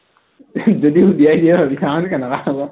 যদি উলিয়াই দিয়ে আৰু জানো কেনেকুৱা হব